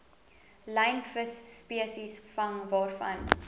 lynvisspesies vang waarvan